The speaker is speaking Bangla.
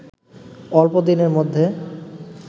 অল্প দিনের মধ্যে